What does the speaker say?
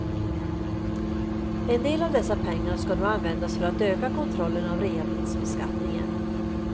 En del av dessa pengar ska nu användas för att öka kontrollen av reavinstbeskattningen.